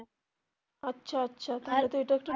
আচ্ছা আচ্ছা তাহলে তো এটা একটা